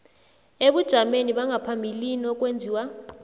ebujameni bangaphambilini okwenziwa